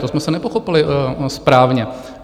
To jsme se nepochopili správně.